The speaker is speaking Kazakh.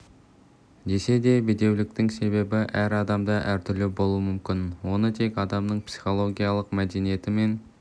десе де бедеуліктің себебі әр адамда әртүрлі болуы мүмкін оны тек адамның психологиялық мәдениеті мен